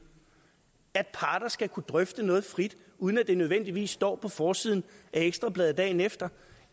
at parter skal kunne drøfte noget frit uden at det nødvendigvis står på forsiden af ekstra bladet dagen efter